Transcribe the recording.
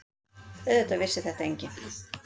Auðvitað vissi þetta enginn.